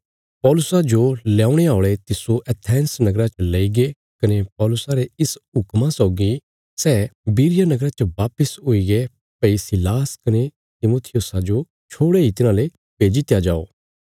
पौलुसा जो ल्यौणे औल़े तिस्सो एथेंस नगरा तक लईगे कने पौलुसा रे इस हुक्मा सौगी सै बिरिया नगरा च वापस हुईगे भई सीलास कने तिमुथियुसा जो छोड़े इ तिन्हांले भेजी दित्या जाओ